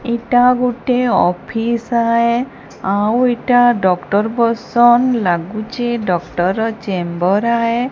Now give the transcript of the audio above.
ଏଟା ଗୋଟେ ଅଫିସ ଆଏ ଆଉ ଏଟା ଡ଼କ୍ଟର ବସନ ଲାଗୁଚେ ଡ଼କ୍ଟର ର ଚେମ୍ବର ଆଏ।